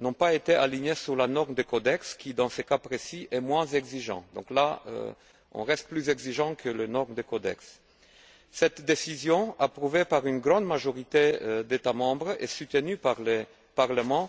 n'ont pas été alignées sur la norme du Codex qui, dans ce cas précis, est moins exigeante. Sur ce point, nous restons donc plus exigeants que les normes du Codex. Cette décision, approuvée par une grande majorité d'États membres et soutenue par le Parlement,